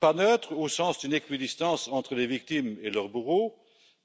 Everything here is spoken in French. Elle ne doit pas être neutre, au sens d'une équidistance entre les victimes et leurs bourreaux,